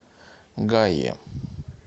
гае